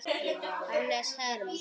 Hannes Herm.